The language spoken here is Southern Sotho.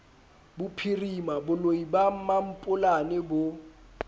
bophirima boloi ba mampolane bo